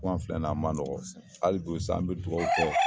Tunga filɛ nin ye a man nɔgɔ, hali bi sa an bi dugawu kɛ